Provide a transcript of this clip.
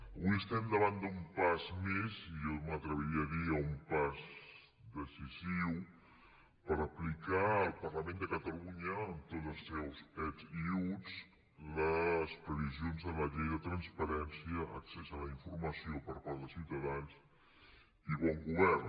avui estem davant d’un pas més i jo m’atreviria a dir un pas decisiu per aplicar al parlament de catalunya amb tots els seus ets i uts les previsions de la llei de transparència accés a la informació per part dels ciutadans i bon govern